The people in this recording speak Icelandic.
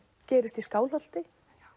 gerist í Skálholti